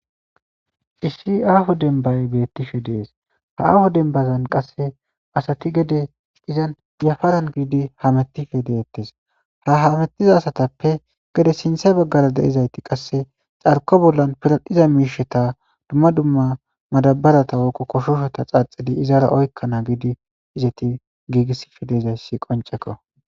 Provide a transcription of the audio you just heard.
ishshi aaho dembay beettishe dees ha aaho dembazan qasse asati gede izan yafaran giidi ha mettife deettes ha hamettiza asatappe gede sinthe baggara deezayti qasse carko bollan piral7hiza miisheta dumma dumma madabarata woqo koshoshota xaaxidi izara oykkana giidi izeti giigissife deezayssi qonceko